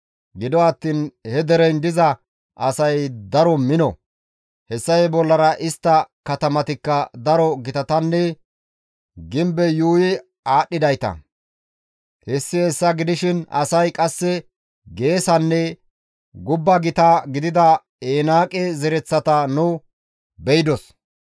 Gido attiin he dereyin diza asay daro mino; hessafe bollara istta katamatikka daro gitatanne gimbey yuuyi aadhdhidayta; hessi hessa gidishin asay qasse geesanne gubba gita gidida Enaaqe zereththata nu beydos.